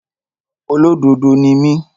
Olódodo ni mí.